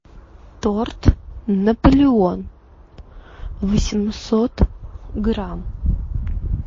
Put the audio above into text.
торт наполеон восемьсот грамм